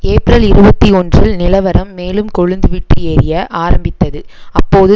ஏப்பிரல் இருபத்தி ஒன்றில் நிலவரம் மேலும் கொழுந்து விட்டு எரிய ஆரம்பித்தது அப்போது